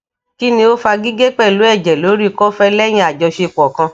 kini o fa gige pelu eje lori kofe lehin ajosepo kan